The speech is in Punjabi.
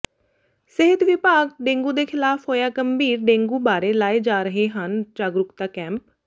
ਸਿਹਤ ਵਿਭਾਗ ਡੇਂਗੂ ਦੇ ਖਿਲਾਫ਼ ਹੋਇਆ ਗੰਭੀਰ ਡੇਂਗੂ ਬਾਰੇ ਲਾਏ ਜਾ ਰਹੇ ਹਨ ਜਾਗਰੂਕਤਾ ਕੈਂਪ